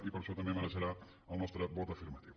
i per això també mereixerà el nostre vot afirmatiu